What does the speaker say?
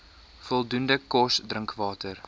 voldoende kos drinkwater